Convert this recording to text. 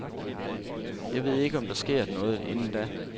Jeg ved ikke, om der sker noget inden da.